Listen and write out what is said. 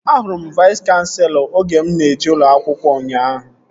Ahụrụ m Vais kanselọ oge mụ na-eje ụlọ akwụkwọ ụnyaahụ